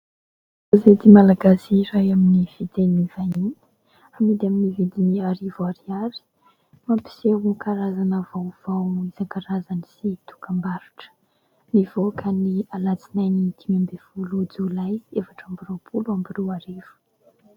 Gazety malagasy iray amin'ny fiteny vahiny, amidy amin'ny vidiny arivo ariary. Mampiseho karazana vaovao isan-karazany sy dokam-barotra. Nivoaka ny alatsinainy dimy ambin'ny folo jolay efatra amby roapolo sy roa arivo.